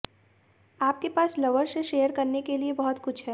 आपके पास लवर से शेयर करने के लिए बहुत कुछ है